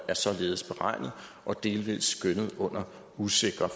er således beregnet og delvis skønnet under usikre